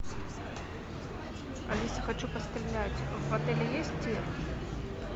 алиса хочу пострелять в отеле есть тир